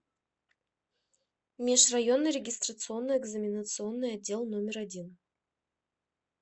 межрайонный регистрационно экзаменационный отдел номер один